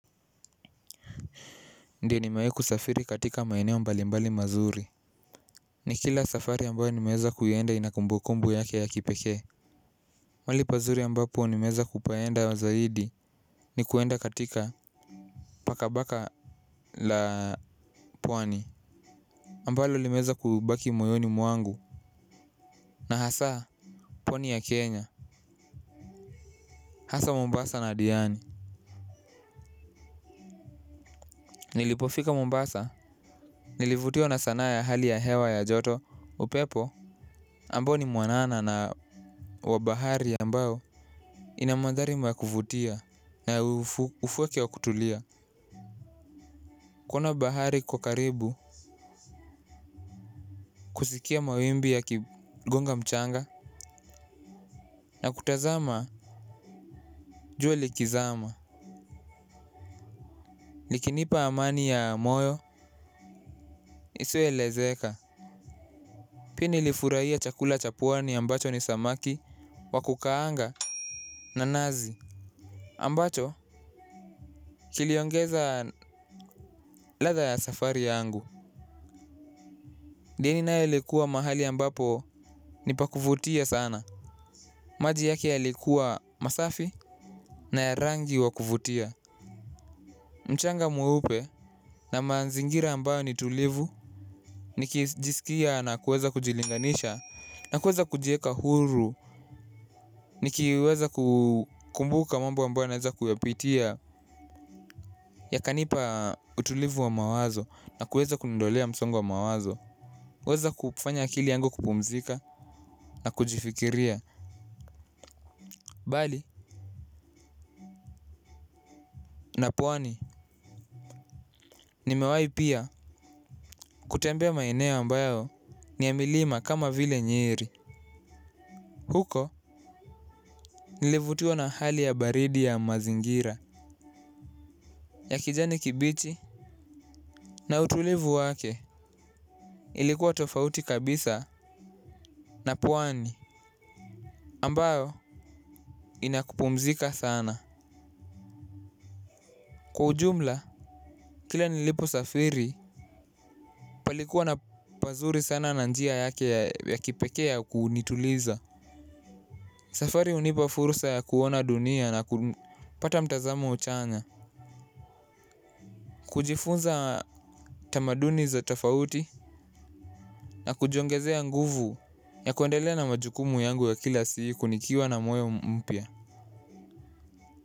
Ndio ni mewahi ku safiri katika maeneo mbali mbali mazuri. Ni kila safari ambayo ni meweza kuenda inakumbu kumbu yake ya kipekee. Mahali pazuri ambapo ni meweza kupaenda zaidi. Ni kwenda katika pakabaka la pwani ambalo li meweza kubaki moyoni mwangu. Na hasa pwani ya Kenya Hasa Mombasa na Adiani. Nilipofika Mombasa. Nilivutiwa na sanaa ya hali ya hewa ya joto. Upepo ambao ni mwanana na wabahari ambayo inamandhari makuvutia na ufukwe wa kutulia. Kuna bahari iko karibu kusikia mawimbi ya kigonga mchanga. Na kutazama jua likizama likinipa amani ya moyo isio lezeka. Pia nifurahia chakula chapwani ambacho ni samaki wakukaanga na nazi ambacho kiliongeza ladha ya safari yangu hii nayo likuwa mahali ambapo nipakuvutia sana. Maji yake ya likuwa masafi na ya rangi wakuvutia. Mchanga mweupe na mazingira ambayo ni tulivu. Nikijisikia na kuweza kujilinganisha na kuweza kujieka huru nikiweza kumbuka mambo ambayo naweza kuyapitia. Ya kanipa utulivu wa mawazo na kuweza kuniondolea msongo wa mawazo. Weza kufanya akili yangu kupumzika na kujifikiria bali na pwani nimewahi pia kutambea maeneo ambayo ni yamilima kama vile nyeri. Huko nilivutiwa na hali ya baridi ya mazingira ya kijani kibichi na utulivu wake. Ilikuwa tofauti kabisa na pwani ambayo inakupumzika sana. Kwa ujumla. Kila nilipo safiri palikuwa na pazuri sana na njia yake ya kipekee ya kunituliza. Safari hunipa fursa ya kuona dunia na kutapata mtazamo chanya. Kujifunza tamaduni za tafouti na kujiongezea nguvu ya kuendelea na majukumu yangu ya kila sikunikiwa na moyo mpya.